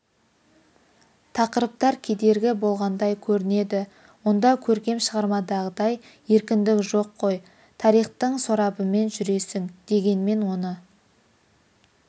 тақырыптар кедергі болғандай көрінеді онда көркем шығармадағыдай еркіндік жоқ қой тарихтың сорабымен жүресің дегенмен оны